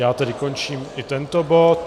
Já tedy končím i tento bod.